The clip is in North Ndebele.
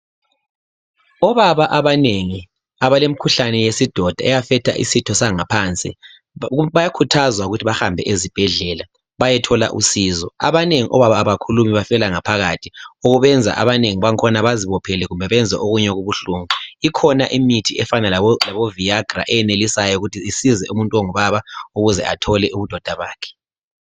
Obaba abanengi abalemikhuhlane yesidoda ehlasela isitho sangaphansi bayakhuthazwa ukuthi bahambe ezibhedlela bayethola usizo. Abanengi obaba abakhulumi bafela ngaphakathi okubenza abanengi bakhona bazibophele benze okunye okubuhlungu. Ikhona imithi enjengaboViagra eyenelisayo ukuthi isize umuntu ongubaba ukuze athole ubudoda bakhe.